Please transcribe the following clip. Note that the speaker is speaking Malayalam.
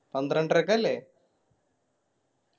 പന്ത്രണ്ടരക്കല്ലേ